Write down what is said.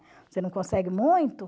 Você não consegue muito.